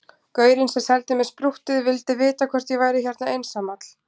Gaurinn sem seldi mér sprúttið vildi vita hvort ég væri hérna einsamall